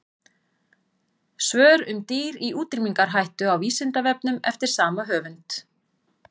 Svör um dýr í útrýmingarhættu á Vísindavefnum eftir sama höfund.